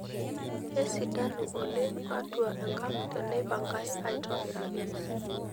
Kesidanu oleng atua enkang' teneipangae aitobiraki.